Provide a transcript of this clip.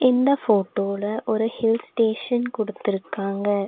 இந்த போட்டோல ஒரு ஹில்ஸ் ஸ்டேஷன் குடுத்திருக்காங்க.